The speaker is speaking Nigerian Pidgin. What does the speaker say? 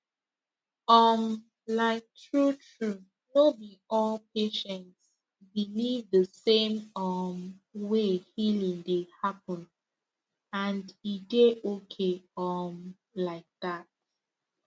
um like truetrue no be all patients believe the same um way healing dey happen and e dey okay um like that